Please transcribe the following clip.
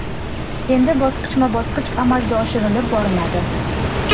Endi bosqichma-bosqich amalga oshirilib boriladi.